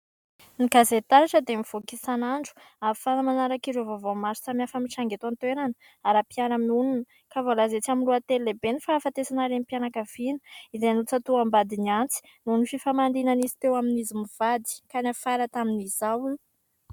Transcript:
Ny gazety "TARATRA" dia mivoaka isanandro ahafahana manaraka ireo vaovao maro samy hafa mitranga eto an-toerana ara mpiaraha-monina ka voalaza etsy amin'ny lohateny lehibe "Ny fahafatesana renim-pianakaviana izay notsatoham-badiny antsy..." noho ny fifamaliana izay teo amin'izy mivady ka niafara tamin'izao.